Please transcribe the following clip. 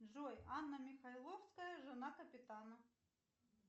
джой анна михайловская жена капитана